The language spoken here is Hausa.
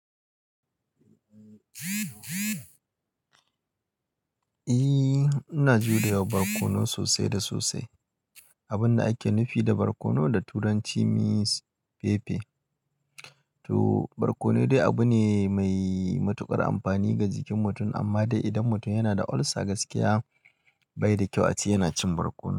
Eh, ina jurawa barkono sosai da sosai. Abun da ake nufi da barkono da turanci means pepper. To barkono dai abu ne mai matuƙar amfani ga jikin mutum amma dai idan mutum yana da ulcer gaskiya bai da kyau ace yana cin barkono.